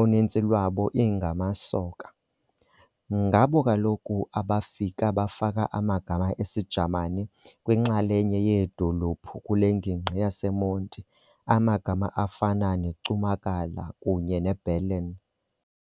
uninzi lwabo ingamasoka. Ngabo kaloku abafika bafaka amagama esiJamani kwinxalenye yeedolophu kule ngingqi yaseMonti amagama afana neCumakala kunye neBerlin.